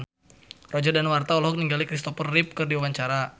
Roger Danuarta olohok ningali Christopher Reeve keur diwawancara